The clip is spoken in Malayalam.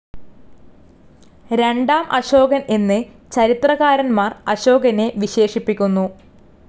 രണ്ടാം അശോകൻ എന്ന് ചരിത്രകാരന്മാർ അശോകനെ വിശേഷിപ്പിക്കുന്നു.